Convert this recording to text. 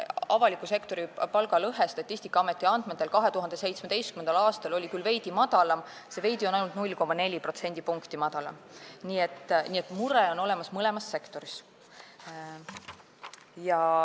Avaliku sektori palgalõhe oli Statistikaameti andmetel 2017. aastal küll veidi väiksem, aga see "veidi" oli ainult 0,4 protsendipunkti, nii et mure on olemas mõlemas sektoris.